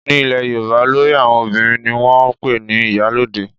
Ní ilẹ̀ yorùbá olórí àwọn obìnrin ni wọ́n ń pè ní ìyálóde